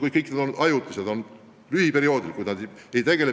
Kuid kõik need on olnud ajutised ja tegutsenud lühikest aega.